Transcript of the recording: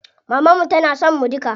Maman mu tana son mu duka.